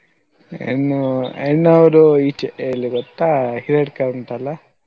ಹೆಣ್ಣು ಹೆಣ್ಣ್ ಅವ್ರು ಈಚೆ ಎಲ್ಲಿ ಗೊತ್ತಾ Hiriadka ಉಂಟಲ್ಲ.